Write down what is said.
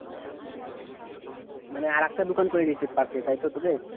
মানে আরেকটা দোকান করে নিয়েছিস পাশে তাইতো তোদের?